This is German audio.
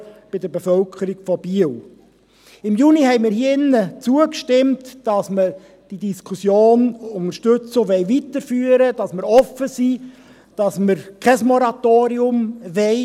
Im Juni stimmten wir hier drin zu, dass wir die Diskussion unterstützen und weiterführen, dass wir offen sind und dass wir kein Moratorium wollen.